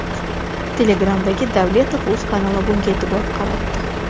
Telegram’dagi Davletovuz kanali bunga e’tibor qaratdi .